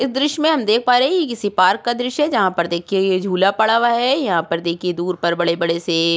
इस दृश में हम देख पा रहे है ये किसी पार्क का दृश्य है जहा पर देखके ये झूला पड़ा हुआ है यहां पर देखे दूर पर बड़े-बड़े से --